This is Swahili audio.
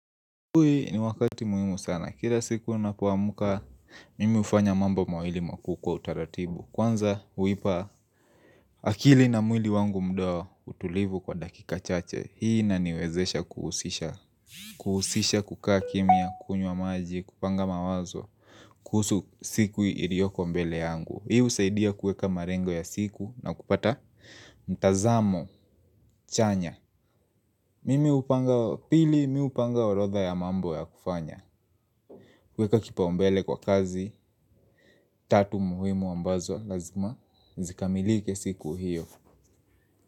Huu ni wakati muhimu sana. Kila siku napoamka, mimi hufanya mambo mawili makuu kwa utaratibu. Kwanza, huipa, akili na mwili wangu muda wa utulivu kwa dakika chache. Hii inaniwezesha kuhusisha. Kuhusisha kukaa kimia, kunyuwa maji, kupanga mawazo. Kuhusu siku ilioko mbele yangu. Hii husaidia kuweka malengo ya siku na kupata mtazamo chanya. Mimi hupanga pili, mi hupanga orodha ya mambo ya kufanya. Kuweka kipaumbele kwa kazi, tatu muhimu ambazo lazima, zikamilike siku hiyo.